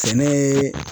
Sɛnɛ